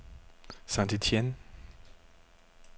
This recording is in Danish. St. Etienne